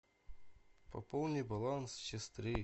пополни баланс сестры